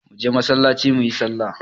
Muje masallacin muyi sallar